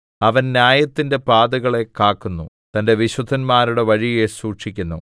അവൻ ന്യായത്തിന്റെ പാതകളെ കാക്കുന്നു തന്റെ വിശുദ്ധന്മാരുടെ വഴിയെ സൂക്ഷിക്കുന്നു